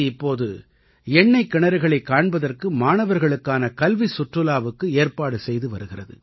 C இப்பொது எண்ணைக் கிணறுகளைக் காண்பதற்கு மாணவர்களுக்கான கல்விச் சுற்றுலாவிற்கு ஏற்பாடு செய்து வருகிறது